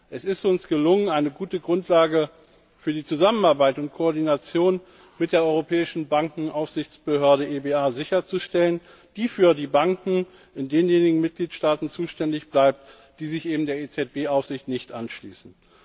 Es ist uns gelungen, eine gute Grundlage für die Zusammenarbeit und Koordination mit der Europäischen Bankenaufsichtsbehörde EBA sicherzustellen, die für die Banken in denjenigen Mitgliedstaaten zuständig bleibt, die sich eben der EZB Aufsicht nicht anschließen.